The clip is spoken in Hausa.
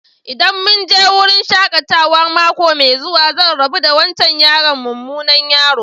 ldan mun je wurin shakatawan mako mai zuwa, zan rabu da wancan mumunan yaro.